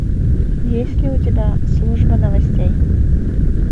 есть ли у тебя служба новостей